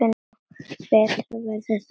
Betra verður það varla.